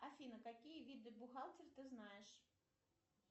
афина какие виды бухгалтер ты знаешь